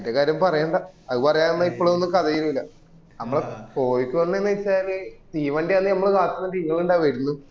ഏന്റെ കാര്യം പറയണ്ട അവ് പറയാന്ല് ഇപ്പലോണനും കഥാ തീരൂല നമ്മളെ കോയിക്കോട്ന്ന് വെച്ചാല് തീവണ്ടിയാണെന്ന് നമ്മള് കാത്ത്ന് തീ കൊണ്ട്വ വരുന്നു